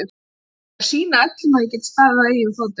ÉG SKAL SÝNA ÖLLUM AÐ ÉG GET STAÐIÐ Á EIGIN FÓTUM.